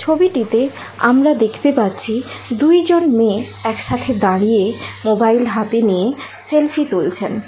ছবিটিতে আমরা দেখতে পাচ্ছি দুইজন মেয়ে একসাথে দাঁড়িয়ে মোবাইল হাতে নিয়ে সেলফি তুলছেন।